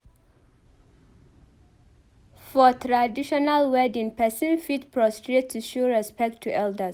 For traditional wedding pipo fit prostrate to show respect to elders